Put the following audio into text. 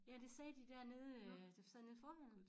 Ja det sagde de dernede øh der sad nede i forhallen